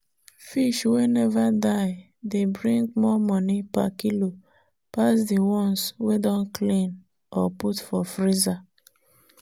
fish wey never die dey bring more money per kilo pass the ones wey don clean or put for freezer.